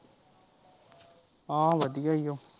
ਹਾਂ ਵਧੀਆ ਓ।